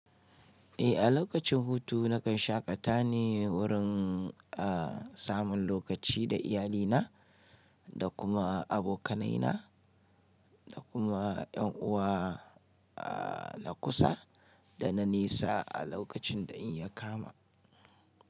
Eh, a lokacin hutu nakan shaƙata ne wurin, a, samun lokaci da iyalina da kuma abokanaina da kuma yan uwa, a, na kusa da na nesa a lokacin da in ya kama.